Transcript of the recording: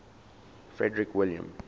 frederick william